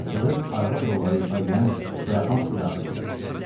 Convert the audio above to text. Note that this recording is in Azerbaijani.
Qapı açılıb, arvad rolları ifadə eləyən Suraxanski daxil oldu.